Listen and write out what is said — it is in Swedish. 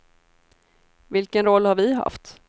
Vilken roll har vi haft?